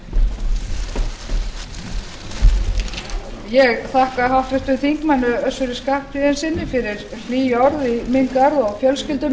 minnar og ég þakka háttvirtum þingmönnum fyrir að taka undir þau orð ég endurtek óskir mínar til allra þingmanna og starfsliðs alþingis lauk á fyrri spólu